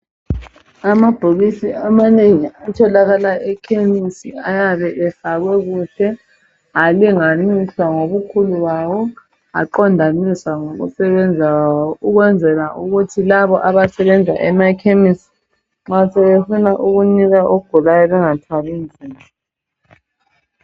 Amabhokisi amanengi atholakala ekhemesi ayabe efakwe kuhle halinganiswa ngobukhulu bawo aqondaniswa ngokusebenza kwawo ukwenzela ukuthi labo abasebenza emakhemesi nxa sebefuna ukunika ogulayo bengathwali nzima.